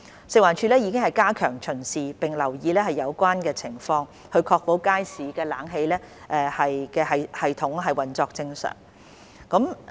食環署亦已加強巡視並留意有關情況，確保街市冷氣系統運作正常。